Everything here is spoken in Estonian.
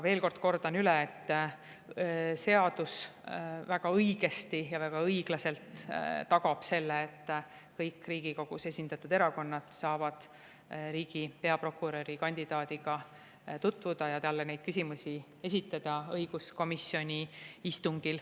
Veel kord kordan üle, et seadus väga õigesti ja väga õiglaselt tagab selle, et kõik Riigikogus esindatud erakonnad saavad riigi peaprokuröri kandidaadiga tutvuda ja talle õiguskomisjoni istungil küsimusi esitada.